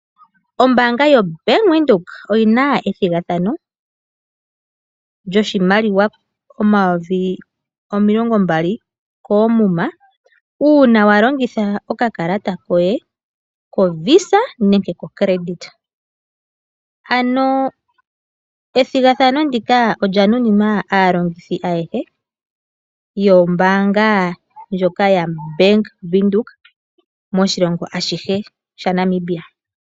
Ombaanga yobank Windhoek oyina ethigathano lyoshimaliwa omayovi omilongo mbali koomuma, uuna wa longitha okakalata koye kovisa nenge kocredit. Ano ethigathano ndika olya nuninwa aalongithi ayehe yombaanga ndjoka yabank Windhoek moshilongo ashihe shaNamibia.